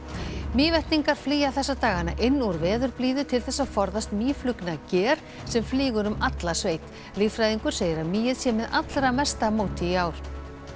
Mývetningar flýja þessa dagana inn úr veðurblíðu til þess að forðast mýflugnager sem flýgur um alla sveit líffræðingur segir að mýið sé með allra mesta móti í ár